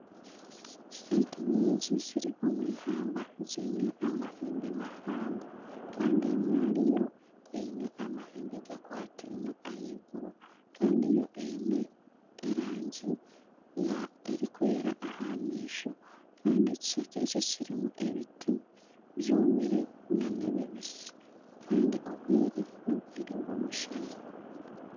Ente nyingi ziri omu ihamba ziine amahembe mahango kandi emwe ahari zo eine amahembe gakwatiine ahaiguru kandi yo eine erangi erikwera aha maisho kandi ekishaka ekyo kirimu ebiti byomire nana ebibisi kandi obwire n'obwire bw'omushana